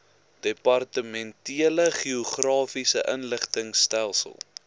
departementele geografiese inligtingstelsel